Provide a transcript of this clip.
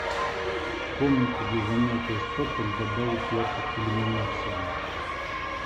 в комнате для занятия спортом добавить яркость иллюминации